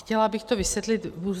Chtěla bych to vysvětlit.